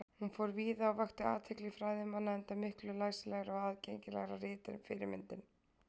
Hún fór víða og vakti athygli fræðimanna, enda miklu læsilegra og aðgengilegra rit en fyrirmyndin.